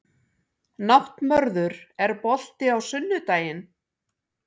Náttmörður, er bolti á sunnudaginn?